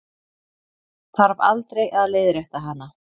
Þarf aldrei að leiðrétta hana.